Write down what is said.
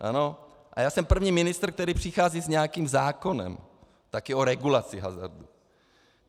A já jsem první ministr, který přichází s nějakým zákonem, také o regulaci hazardu.